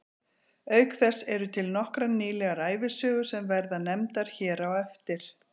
Auk þess eru til nokkrar nýlega ævisögur sem verða nefndar hér á eftir.